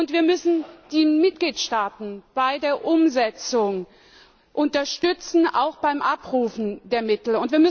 Wir müssen die Mitgliedstaaten bei der Umsetzung unterstützen, auch beim Abrufen der Mittel.